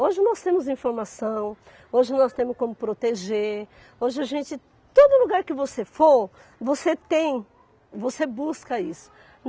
Hoje nós temos informação, hoje nós temos como proteger, hoje a gente, todo lugar que você for, você tem, você busca isso.